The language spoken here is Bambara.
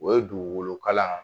O ye dugukolo kalan